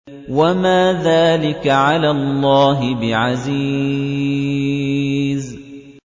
وَمَا ذَٰلِكَ عَلَى اللَّهِ بِعَزِيزٍ